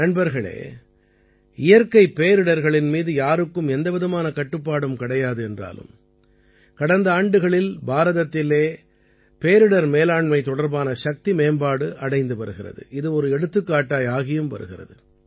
நண்பர்களே இயற்கைப் பேரிடர்களின் மீது யாருக்கும் எந்தவிதமான கட்டுப்பாடும் கிடையாது என்றாலும் கடந்த ஆண்டுகளில் பாரதத்திலே பேரிடர் மேலாண்மை தொடர்பான சக்தி மேம்பாடு அடைந்து வருகிறது இது ஒரு எடுத்துக்காட்டாய் ஆகியும் வருகிறது